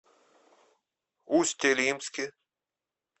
усть илимске